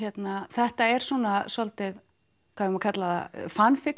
þetta er svona svolítið